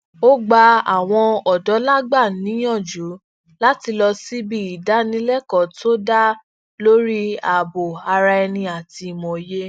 ó gba àwọn òdólangba niyanju láti lọ síbi ìdánilékọọ to da lórí ààbò araẹni àti imòye